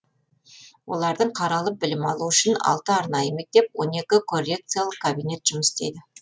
олардың қаралып білім алуы үшін алты арнайы мектеп он екі коррекциялық кабинет жұмыс істейді